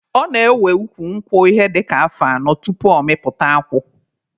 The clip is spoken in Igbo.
Ọ na-ewe ukwu nkwụ ihe dịka afọ anọ tupu ọ mịta akwụ.